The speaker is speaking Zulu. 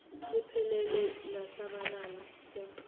liphelele lesabelo seqoqo